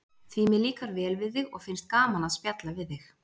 Því mér líkar vel við þig og finnst gaman að spjalla við þig.